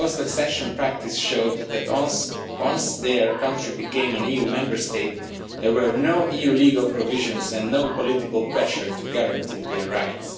Post accession practice showed that once their country became an EU Member State, there were no EU legal provisions and there was no political pressure to guarantee their rights.